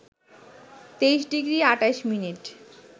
২৩ degree ২৮ minute